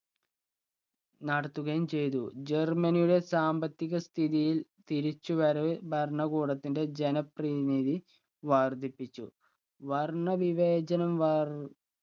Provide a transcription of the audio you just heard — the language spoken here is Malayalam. നടത്തുകയും ചെയ്തു. ജർമനിയുടെ സാമ്പത്തിക സ്ഥിതിയിൽ തിരിച്ചു വരവ് ഭരണകൂടത്തിന്റെ ജനപ്രതിനിധി വർധിപ്പിച്ചു വർണ്ണ വിവേചനം വർ